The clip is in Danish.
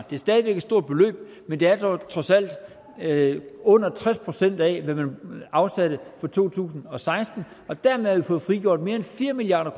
det er stadig væk et stort beløb men det er dog trods alt under tres procent af hvad man afsatte for to tusind og seksten og dermed har vi fået frigjort mere end fire milliard